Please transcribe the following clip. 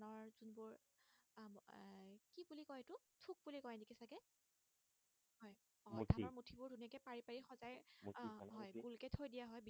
আহ হয় ভুলকে থৈ দিয়া হয়